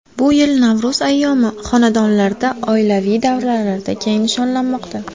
Bu yil Navro‘z ayyomi xonadonlarda, oilaviy davralarda keng nishonlanmoqda.